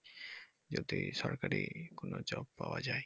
যদি সরকারি কোন job পাওয়া যায়।